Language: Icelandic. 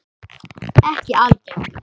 Ekki algeng.